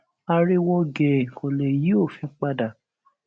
ariwo gèè kò lè yí òfin padà